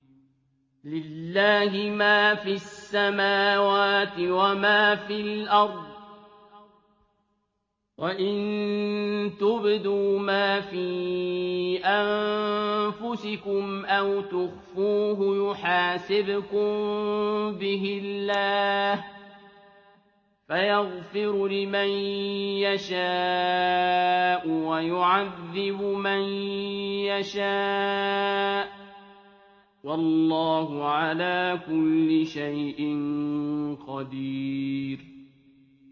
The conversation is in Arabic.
لِّلَّهِ مَا فِي السَّمَاوَاتِ وَمَا فِي الْأَرْضِ ۗ وَإِن تُبْدُوا مَا فِي أَنفُسِكُمْ أَوْ تُخْفُوهُ يُحَاسِبْكُم بِهِ اللَّهُ ۖ فَيَغْفِرُ لِمَن يَشَاءُ وَيُعَذِّبُ مَن يَشَاءُ ۗ وَاللَّهُ عَلَىٰ كُلِّ شَيْءٍ قَدِيرٌ